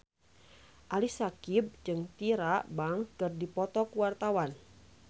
Ali Syakieb jeung Tyra Banks keur dipoto ku wartawan